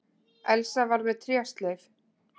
Elsa var með trésleif.